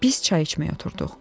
Biz çay içməyə oturduq.